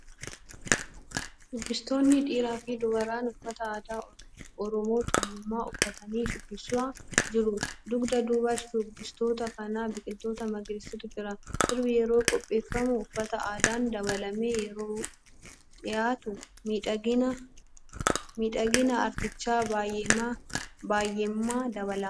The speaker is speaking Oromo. Shubbistoonnii dhiiraa fi dubaraan uffata aadaa Oromoo Tuulamaa uffatanii shubbisaa jiru. Dugda duuba shubbistoota kanaa biqiloota magariisaatu jira. Sirbi yeroo qopheeffamu uffata aadaan dabaalamee yeroo dhiyaatu miidhagina aartichaa baayyeema dabala.